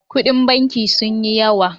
Kuɗin banki sun yi yawa.